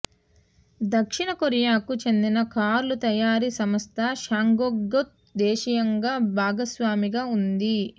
దక్షిణ కొరియాకు చెందిన కార్ల తయారీ సంస్థ శాంగ్యాంగ్తో దేశీయంగా భాగస్వామిగా ఉంది